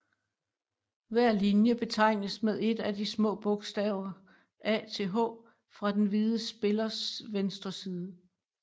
Hver linje betegnes med et af de små bogstaver a til h fra den hvide spillers venstre side